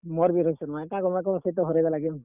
ମୋର୍ ବି ରୋହିତ୍ ଶର୍ମା ଏ କେଁ କରମା ସେ ତ ହରେଇ ଦେଲା game ।